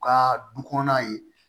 U ka du kɔnɔna ye